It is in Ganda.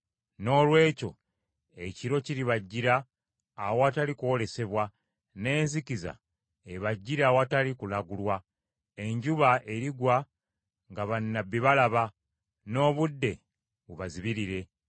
Noolwekyo ekiro kiribajjira, awatali kwolesebwa, n’enzikiza ebajjire awatali kulagulwa. Enjuba erigwa nga bannabbi balaba, n’obudde bubazibirire.